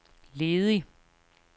ledig